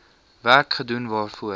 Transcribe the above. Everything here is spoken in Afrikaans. werk gedoen waarvoor